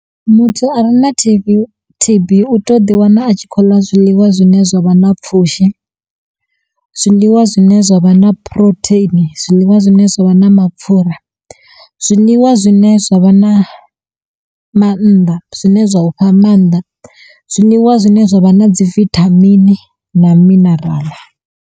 Muthu a re na T_B, T_B u teyo ḓi wana a tshi khou ḽa zwiḽiwa zwine zwa vha na pfhushi, zwiḽiwa zwine zwa vha na phurotheini, zwiḽiwa zwine zwa vha na mapfura, zwiḽiwa zwine zwa vha na mannḓa zwine zwa u fha maanḓa, zwiḽiwa zwine zwa vha na dzi vithamini na mineraḽa.